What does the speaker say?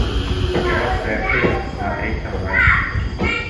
операция ы смотреть онлайн